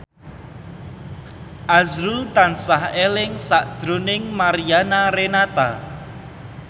azrul tansah eling sakjroning Mariana Renata